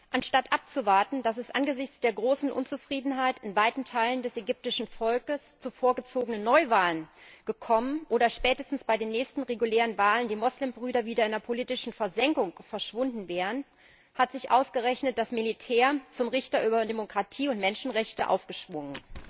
Anstatt abzuwarten, dass es angesichts der großen Unzufriedenheit in weiten Teilen des ägyptischen Volkes zu vorgezogenen Neuwahlen gekommen wäre oder die Muslimbrüder spätestens bei den nächsten regulären Wahlen wieder in der politischen Versenkung verschwunden wären, hat sich ausgerechnet das Militär zum Richter über Demokratie und Menschenrechte aufgeschwungen.